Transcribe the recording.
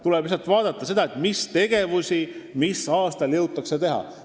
Tuleb lihtsalt vaadata, mis tegevusi mis aastal jõutakse teha.